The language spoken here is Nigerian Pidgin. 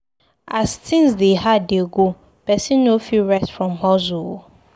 As tins dey hard dey go, pesin no fit rest from hustle o.